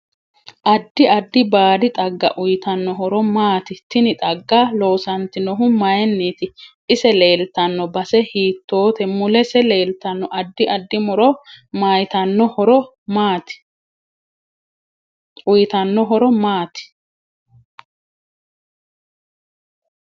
Addi addi baadi xgga uyiitanno horo maati tini xagga loosantanohu mayiiniiti ise leeltanno base hiitoote mulese leeltanno addi addi muro uyiitanno horo maati